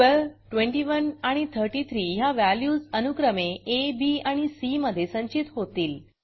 12 21 आणि 33 ह्या व्हॅल्यूज अनुक्रमे आ बी आणि सी मधे संचित होतील